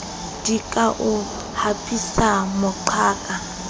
di ka o hapisa moqhaka